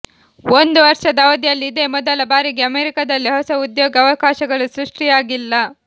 ಒಂದು ವರ್ಷದ ಅವಧಿಯಲ್ಲಿ ಇದೇ ಮೊದಲ ಬಾರಿಗೆ ಅಮೆರಿಕದಲ್ಲಿ ಹೊಸ ಉದ್ಯೋಗ ಅವಕಾಶಗಳು ಸೃಷ್ಟಿಯಾಗಿಲ್ಲ